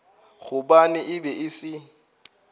gobane e be e se